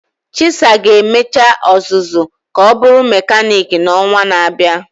Chisa ga emecha ọzụzụ ka ọ bụrụ mekaniiki n'ọnwa na-abịa.